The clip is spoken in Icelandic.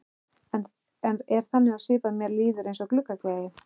Er þannig á svip að mér líður eins og gluggagægi.